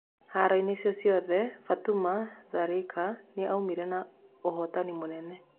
Haroinĩ icio ciothe Batũma Tharĩ ka aumire na ũhotani mũnene.